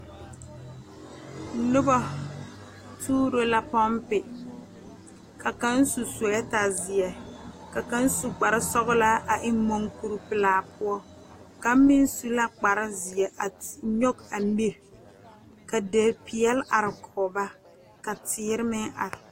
Noba tuuro la poŋpe ka kaŋa su seɛta ziɛ ka kaŋa su kpare sɔglaa a eŋ moɔ kuri pelaa eŋa kaŋa meŋ su la kpare ziɛ a nyoŋ a mire ka di peɛle are kɔŋ ba ka teere meŋ are.